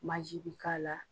bi k'a la.